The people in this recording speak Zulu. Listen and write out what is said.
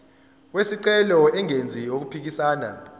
wesicelo engenzi okuphikisana